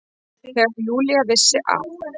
Þegar Júlía vissi að